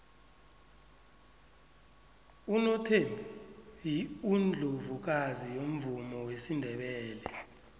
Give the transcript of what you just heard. unothembi yiundlovukazi yomvumo wesindebele